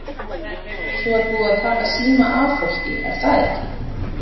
Svo er búið að taka síma af fólki er það ekki?